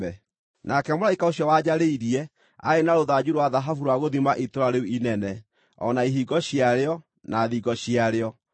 Nake mũraika ũcio wanjarĩirie aarĩ na rũthanju rwa thahabu rwa gũthima itũũra rĩu inene, o na ihingo ciarĩo, na thingo ciarĩo.